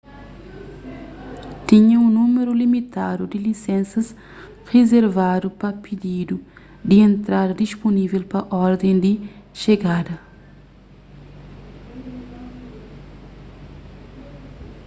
tinha un númeru limitadu di lisensas rizervadu pa pididu di entrada dispunível pa orden di xegada